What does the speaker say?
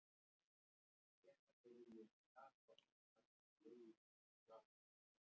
Alveg óháð öllu öðru.